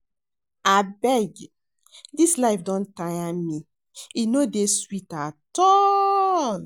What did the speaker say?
Abeg dis life don tire me, e no dey sweet at all